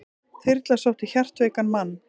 Þyrla sótti hjartveikan mann